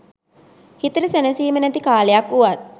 හිතට සැනසීම නැති කාලයක් වුවත්